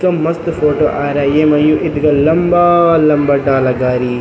क्या मस्त फोटो आरई येमा यु इथगा लंबा लंबा डाला गारी।